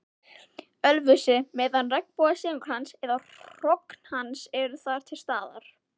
Ölfusi, meðan regnbogasilungur eða hrogn hans eru þar til staðar.